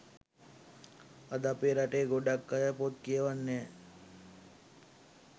අද අපේ රටේ ගොඩක් අය පොත් කියවන් නෑ